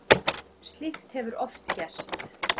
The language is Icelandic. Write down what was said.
Slíkt hefur oft gerst.